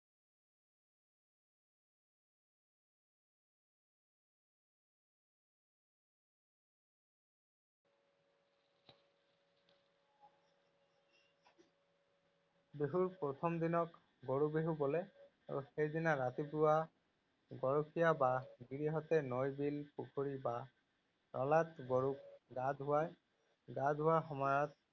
বিহুৰ প্ৰথম দিনক গৰু বিহু বোলে আৰু সেইদিনা ৰাতিপুৱা গৰখীয়া বা গিৰীহঁতে নৈ, বিল, পুখুৰী বা নলাত গৰুক গা ধুৱায়। গা ধুওৱাৰ সময়ত